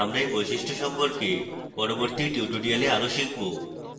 আমরা we বৈশিষ্ট্য সম্পর্কে পরবর্তী tutorials আরও শিখব